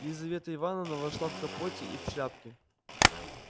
лизавета ивановна вошла в капоте и в шляпке